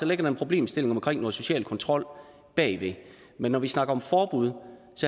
ligger en problemstilling omkring social kontrol men når vi snakker om forbud